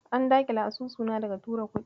An daƙile asusuna daga tura kuɗi.